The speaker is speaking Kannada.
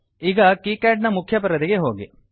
ಈಗ ಕೀಕ್ಯಾಡ್ ನ ಮುಖ್ಯ ಪರದೆಗೆ ಹೋಗಿ